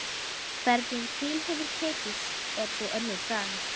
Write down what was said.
Hvernig til hefur tekist er svo önnur saga.